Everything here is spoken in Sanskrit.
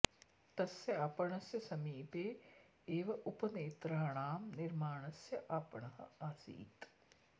तस्य आपणस्य समीपे एव उपनेत्राणां निर्माणस्य आपणः आसीत्